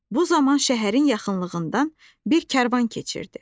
Bu zaman şəhərin yaxınlığından bir karvan keçirdi.